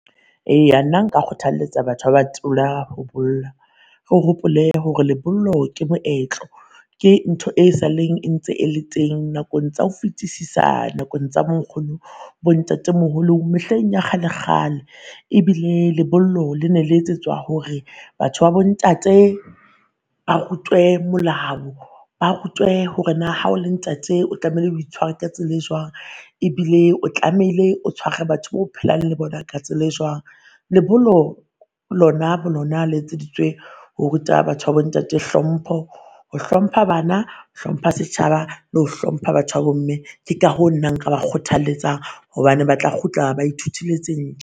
Eya nna nka kgothaletsa batho ba ba thona ho bolla, o hopole hore le bollo ke moetlo. Ke ntho e saleng e ntse e le teng nakong tsa ho fetisisa, nakong tsa bo nkgono bo ntate moholo mehleng ya kgale kgale. Ebile lebollo le ne le etsetswa hore batho ba bo ntate ba rutwe molao, ba rutwe hore naa ha o le ntate o tlamehile o itshware ka tsela e jwang ebile o tlamehile o tshware batho ba o phelang le bona ka tsela e jwang. Lebollo lona bo lona le etseditswe ho ruta batho ba bo ntate hlompho, ho hlompha bana, hlompha setjhaba lo hlompha batho ba bo mme. Ke ka hoo nna nka ba kgothaletsa hobane ba tla kgutla ba ithutile tse